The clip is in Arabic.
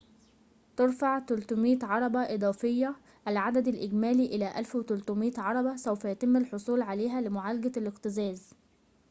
ترفع ٣٠٠ عربة إضافية العدد الإجمالي إلى ١٣٠٠ عربة سوف يتم الحصول عليها لمعالجة الاكتظاظ